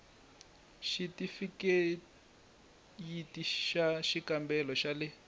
xithifikheyiti xa xikambelo xa le